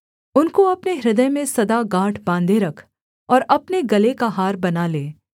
उनको अपने हृदय में सदा गाँठ बाँधे रख और अपने गले का हार बना ले